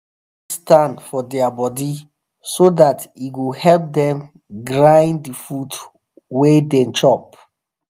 fowl need sands for their body so that e go help them grind the food wa them chop